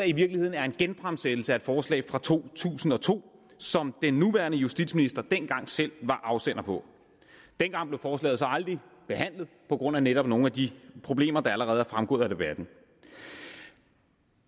i virkeligheden er en genfremsættelse af et forslag fra to tusind og to som den nuværende justitsminister dengang selv var afsender på dengang blev forslaget så aldrig behandlet på grund af netop nogle af de problemer der allerede er fremgået af debatten